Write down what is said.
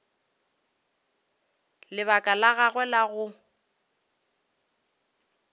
lebaka la gagwe la go